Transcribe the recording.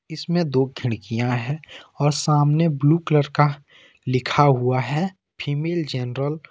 इसमें दो खिड़कियां हैं और सामने ब्लू कलर का लिखा हुआ है फीमेल जनरल ।